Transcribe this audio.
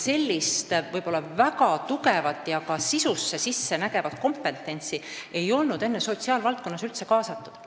Sellist väga tugevat ja ka sisu sisse nägevat kompetentsi ei olnud sotsiaalvaldkonda enne üldse kaasatud.